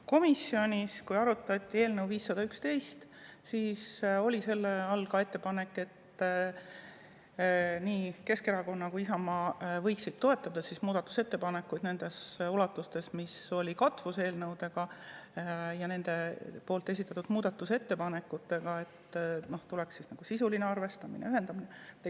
Komisjonis, kui arutati eelnõu 511, oli all ka ettepanek, et nii Keskerakond kui ka Isamaa võiksid toetada muudatusettepanekuid selles ulatuses, nagu oli kattuvus eelnõude ja nende esitatud muudatusettepanekute puhul, ning siis oleks tulnud sisuline arvestamine ja ühendamine.